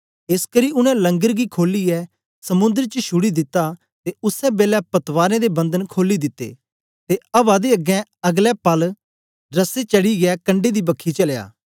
एसकरी उनै लंगर गी खोलियै समुंद्र च शुड़ी दिता ते उसै बेलै पतवारें दे बंधन खोली दिते ते अवा दे अगें अगलै पाल दे रस्से चढ़ीयै कंडै दी बखी चलया